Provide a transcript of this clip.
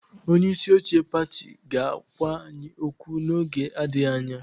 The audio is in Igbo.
Onye isi oche pati ga-agwa anyị okwu n'oge adịghị anya.